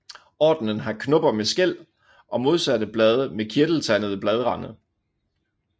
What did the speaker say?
Ordenen har knopper med skæl og modsatte blade med kirteltandede bladrande